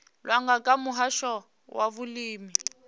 langwa nga muhasho wa vhulimi